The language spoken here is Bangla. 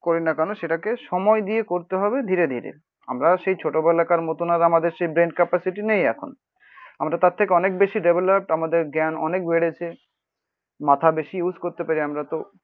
করিনা কেন সেটাকে সময় দিয়ে করতে হবে ধীরেধীরে। আমরা সেই ছোটবেলাকার মতন আর আমাদের সেই ব্রেইন ক্যাপাসিটি নেই এখন, আমরা তার থেকে অনেক বেশি ডেভেলপট, আমাদের জ্ঞান অনেক বেড়েছে। মাথা বেশি ইউস করতে পারি আমরাতো